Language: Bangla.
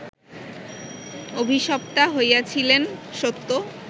অভিশপ্তা হইয়াছিলেন, সত্য